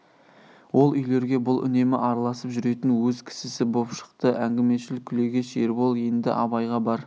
ол үйлерге бұл үнемі араласып жүретін өз кісісі боп шықты әңгімешіл күлегеш ербол енді абайға бар